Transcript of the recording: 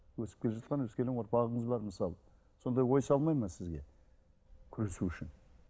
өсіп келе жатқан өскелең ұрпағыңыз бар мысалы сондай ой салмайды ма сізге күресу үшін